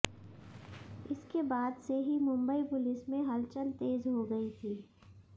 इसके बाद से ही मुंबई पुलिस में हलचल तेज हो गई थी